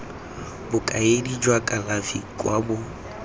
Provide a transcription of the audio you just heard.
bokaedi jwa kalafi kwa bo